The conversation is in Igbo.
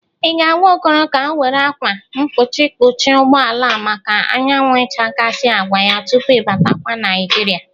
Ị ga-agwa Okoro ka ọ were akwa mpuchi kpuchie ụgbọala a maka anyawụ ichakasị agwa ya tupu i batakwa Naịjịrịa?